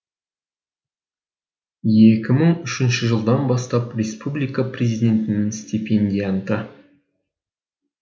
екі мың үшінші жылдан бастап республика президентінің степендианты